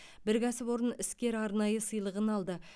бір кәсіпорын іскер арнайы сыйлығын алды